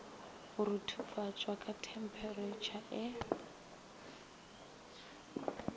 go ruthufatšwa ka themperetšha e